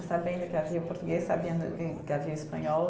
sabendo que havia português, sabendo que que havia espanhol.